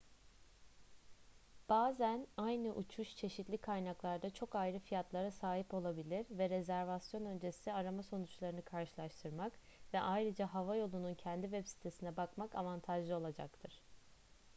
bazen aynı uçuş çeşitli kaynaklarda çok ayrı fiyatlara sahip olabilir ve rezervasyon öncesi arama sonuçlarını karşılaştırmak ve ayrıca hava yolunun kendi web sitesine bakmak avantajlı olacaktır